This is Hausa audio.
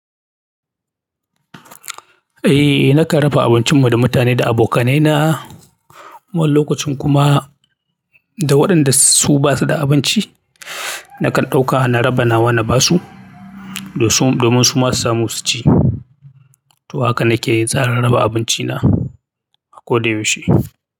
Eh, nakan raba abincinmu da mutane da abokanaina. Wani lokacin kuma da waɗanda su ba su da abinci, nakan ɗauka na raba nawa na ba su domin su ma su samu su ci. To haka nake yin tsarin raba abinci na a koda yaushe.